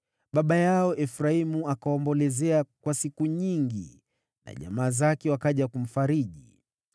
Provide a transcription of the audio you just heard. Baba yao Efraimu akawaombolezea kwa siku nyingi, na jamaa zake wakaja kumfariji.